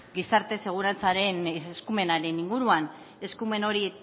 gizarte segurantzaren eskumenaren inguruan eskumen hori